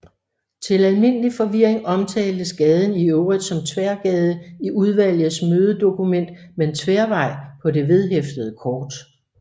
Til almindelig forvirring omtaltes gaden i øvrigt som Tværgade i udvalgets mødedokument men Tværvej på det vedhæftede kort